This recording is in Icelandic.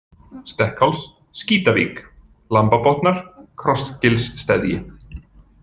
Stekkháls, Skítavík, Lambabotnar, Krossgilssteðji